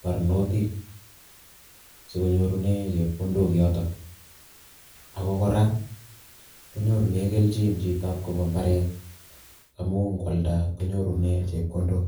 barnotik si konyorune chepkondok yotok, ako kora konyorune keljin chitab kobo imbaret amu kwalda konyorune chepkondok